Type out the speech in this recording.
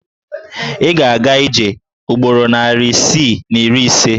Ị ga-aga ije ugboro narị isii na iri ise.